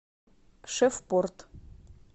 шефпорт